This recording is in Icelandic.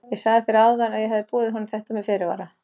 Ég sagði þér áðan að ég hefði boðið honum þetta með fyrirvara.